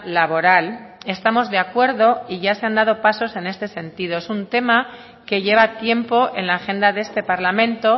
laboral estamos de acuerdo y ya se han dado pasos en este sentido es un tema que lleva tiempo en la agenda de este parlamento